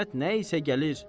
Qismət nə isə gəlir.